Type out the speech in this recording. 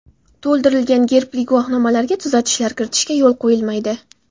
To‘ldirilgan gerbli guvohnomalarga tuzatishlar kiritishga yo‘l quyilmaydi.